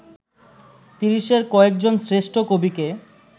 তিরিশের কয়েকজন শ্রেষ্ঠ কবিকে